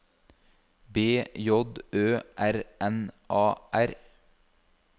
B J Ø R N A R